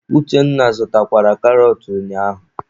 Uchenna a zụtakwara karọt ụnyaahụ?